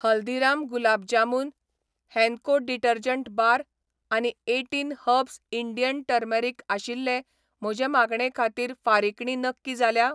Haldiram gulab jamun, Henko detergent bar आनी eighteen herbs Indian turmeric आशिल्ले म्हजे मागणे खातीर फारिकणी नक्की जाल्या ?